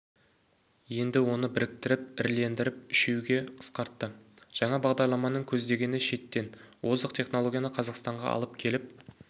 енді оны біріктіріп ірілендіріп үшеуге қысқартты жаңа бағдарламаның көздегені шеттен озық технологияны қазақстанға алып келіп